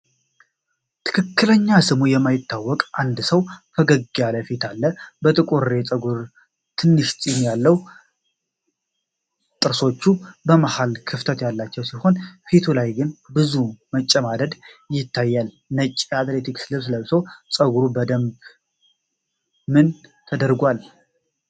ትክክለኛ ስሙ የማይታወቅ አንድ ሰው ፈገግታ ያለው ፊት አለ። ጥቁር ፀጉርና ትንሿ ፂም አለው። ጥርሶቹ በመሃል ክፍተት ያላቸው ሲሆን፣ ፊቱ ላይ ግን ብዙ መጨማደድ ይታያል። ነጭ የአትሌቲክስ ልብስ ለብሷል። ፀጉሩ በደንብ ምን ተደረጓል?